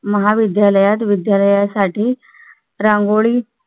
महाविद्यालयात विद्यालयासाठी रांगोळी